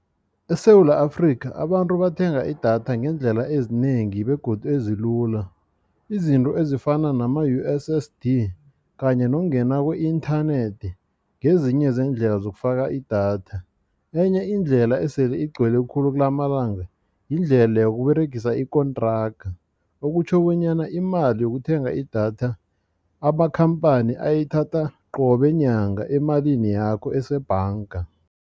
ESewula Afrika abantu bathenga idatha ngeendlela ezinengi begodu ezilula izinto ezifana nama-U_S_S_D kanye nokungena ku-inthanethi ngezinye zeendlela zokufaka idatha. Enye indlela esele igcwele khulu kulamalanga yindlela yokukuberegisa ikontraga okutjho bonyana imali yokuthenga idatha amakhamphani ayithatha qobe nyanga emalini yakho esebhanga.